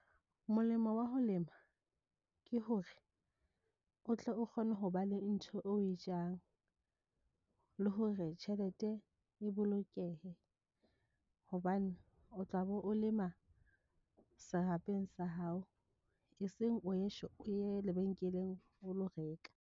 Molemo wa ho lema ke hore, o tle o kgone ho ba le ntho o e jang le hore tjhelete e bolokehe, hobane o tlabe o lema serapeng sa hao. E seng o ye lebenkeleng, o lo reka.